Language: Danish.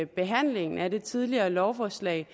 behandlingen af det tidligere lovforslag